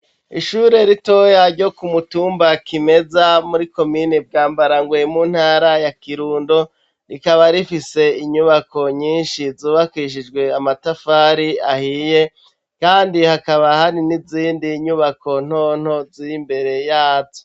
Ishure ritoya ryo ku mutumba Kimeza muri komini Bwambarangwe mu ntara ya Kirundo, rikaba rifise inyubako nyinshi zubakishijwe amatafari ahiye, kandi hakaba hari nizindi nyubako nto nto ziri imbere yazo.